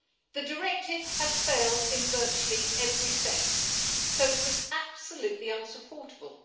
The Directive has failed in virtually every sense, so it was absolutely unsupportable.